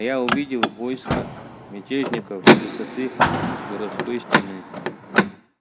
я увидел войско мятежников с высоты городской стены